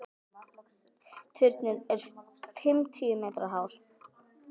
Turninn er fimmtíu metra hár.